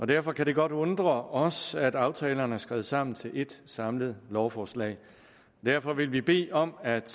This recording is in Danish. derfor kan det godt undre os at aftalerne er skrevet sammen til et samlet lovforslag derfor vil vi bede om at